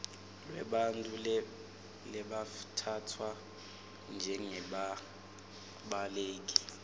lwebantfu labatsatfwa njengebabaleki